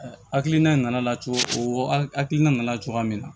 hakilina in nana cogo o hakilina nana cogoya min na